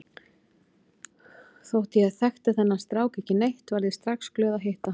Þótt ég þekkti þennan strák ekki neitt varð ég strax glöð að hitta hann.